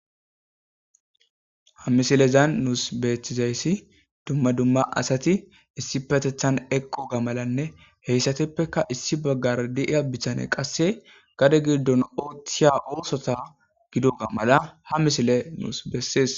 ha misilezan nuus beeththizayssi dumma dumma asati issi patethan eqqo ga malanne heyssateppeka issi baggar di7iya bitane qasse gade giddon oothiya oosota gidoga mala ha misile nuus bessees